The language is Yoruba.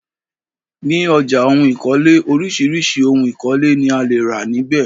Ní ọjà ohun ìkọ́lé, oríṣiríṣi òhun ìkọ́lé ni a lè rà níbè.